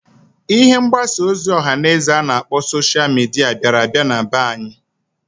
Ihe mgbasa ozi ọha na eze a na-akpọ sosha mịdịa biara abia na be anyị.